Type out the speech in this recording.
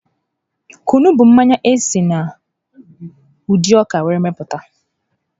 Kwunu bụ mmanya esi na ụdị ọka were mepụta